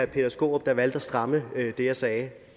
peter skaarup der valgte at stramme det jeg sagde